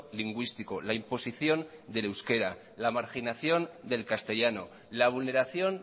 lingüístico la imposición del euskera la marginación del castellano la vulneración